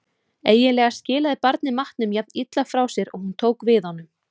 Eiginlega skilaði barnið matnum jafn illa frá sér og hún tók við honum.